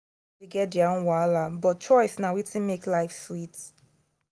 everybody get their own wahala but choice na wetin make life sweet.